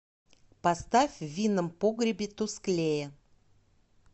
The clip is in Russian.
поставь в винном погребе тусклее